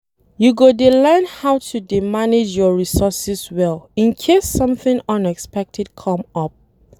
You go dey learn how to dey manage your resources well in case something unexpected come up